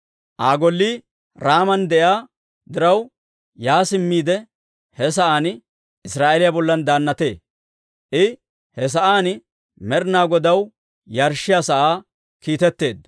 Aa gollii Raaman de'iyaa diraw, yaa simmiide he sa'aan Israa'eeliyaa bollan daannatee. I he sa'aan Med'inaa Godaw yarshshiyaa sa'aa kiitetteedda.